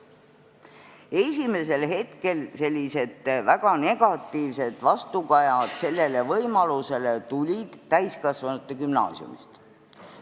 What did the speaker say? Esimesel hetkel tulid sellised väga negatiivsed vastukajad sellele võimalusele täiskasvanute gümnaasiumidelt.